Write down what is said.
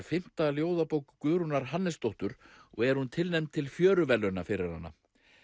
fimmta ljóðabók Guðrúnar Hannesdóttur og er hún tilnefnd til Fjöruverðlauna fyrir hana